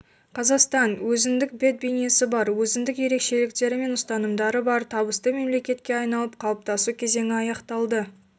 қазақстан өзіндік бет-бейнесі бар өзіндік ерекшеліктері мен ұстанымдары бар табысты мемлекетке айналып қалыптасу кезеңі аяқталды